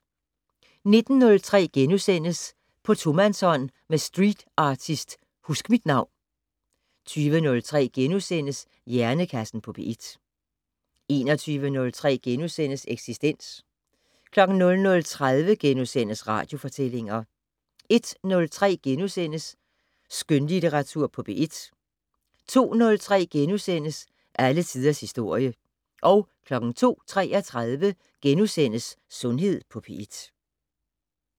19:03: På tomandshånd med streetartist Huskmitnavn * 20:03: Hjernekassen på P1 * 21:03: Eksistens * 00:30: Radiofortællinger * 01:03: Skønlitteratur på P1 * 02:03: Alle tiders historie * 02:33: Sundhed på P1 *